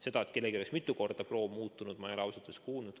Seda, et kellelgi oleks mitu korda proov muutunud, ei ole ma ausalt öeldes kuulnud.